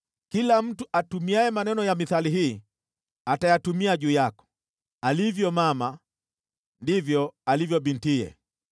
“ ‘Kila mtu atumiaye maneno ya mithali hii, atayatumia juu yako: “Alivyo mama, ndivyo alivyo bintiye.”